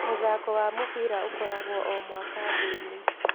Mũthako wa mũbira ũkoragwo o mwaka thĩ-inĩ.